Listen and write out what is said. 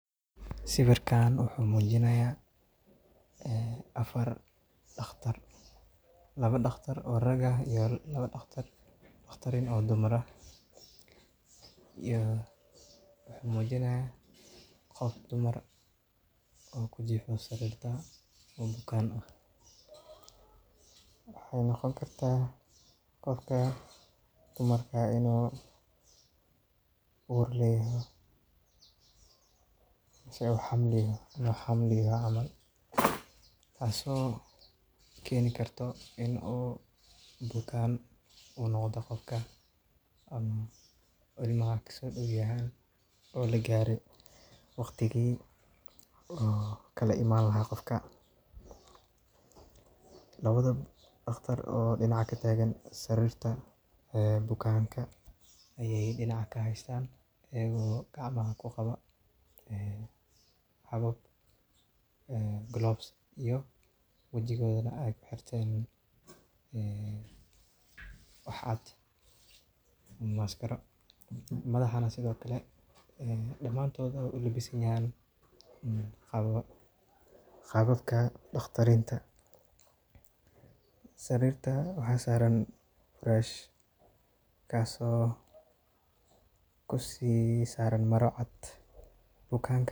Sawirkaan wuxuu mujinayaa 4 dhakhtar oo rag ah iyo 2 dhakhtar oo dumar ah iyo qof dumar ah oo jiifto sariirta oo bukaan ah. Waxaay noqoni kartaa in qofka dumarka uu uur leeyahay oo xamilo tahay taas oo keeni karto in uu bukaan noqdo qofkaan, ama in uu ilmaha ka soo dhow yahay oo la gaaray waqtigii uu kala imani lahaa. Qofka la wada dhakhaatiirta dhinaca ka taagan sariirta bukaanka ayay dhinac ka haystaan ayagoo gacmaha ku qabo gloves, wajigana ay ku xirteen wax caad ah ama mask. Sidoo kalana madaxa dhammaantoodna ay u labisan yihiin qaabka dhakhaatiirta. Sariirta waxaa saaran firaash kaas oo si u saaran maro cad.